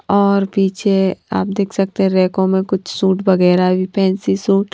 और पीछे आप देख सकते हैं रैकों में कुछ सूट वगैरह भी फैंसी सूट --